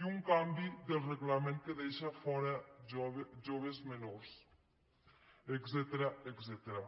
i un canvi del reglament que en deixa fora joves menors etcètera